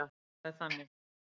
Það er þannig.